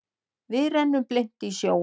Við renndum blint í sjóinn.